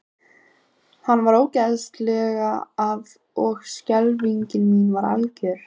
Hann fór óðslega að og skelfing mín var algjör.